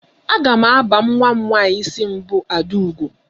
Aga m aba nwa m nwaanyị isi mbụ Adaugo.